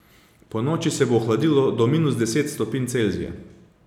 Ponoči se bo ohladilo do minus deset stopinj Celzija.